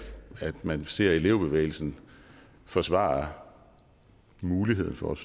man ser elevbevægelsen forsvare muligheden for